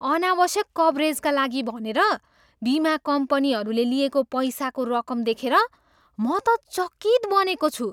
अनावश्यक कभरेजका लागि भनेर बिमा कम्पनीहरूले लिएको पैसाको रकम देखेर म त चकित बनेको छु।